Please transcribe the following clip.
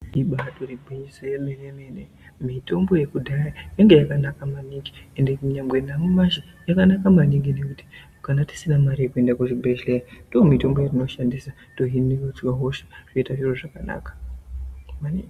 Itobari gwinyiso yemene mene mitombo yekudhaya yanga yakanaka maningi ende kunyangwe nanyamashi yakanaka maningi ngekuti kana tisina mari yekuenda kuzvibhedhlera ndomitombo yatinoshandisa tohinwa hosha toita zviro zvakanaka.